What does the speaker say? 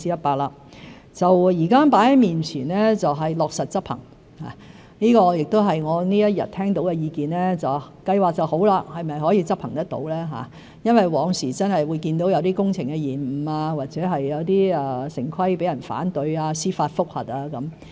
現時放在面前的是落實執行，這亦是我一天以來聽到的意見——計劃是很好，是否可以執行得到呢？因為往時真的會看到有些工程延誤，或有些城規程序被人反對、司法覆核等。